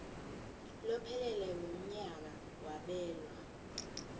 lophelele wemnyaka kwabelwa